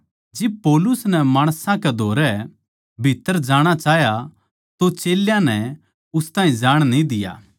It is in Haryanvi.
जिब पौलुस नै माणसां कै धोरै भीत्त्तर जाणा चाह्या तो चेल्यां नै उस ताहीं जाण न्ही दिया